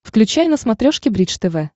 включай на смотрешке бридж тв